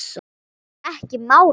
Ekki málið.